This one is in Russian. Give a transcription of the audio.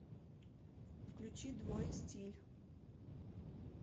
включи двое стиль